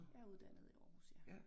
Jeg uddannet i Aarhus ja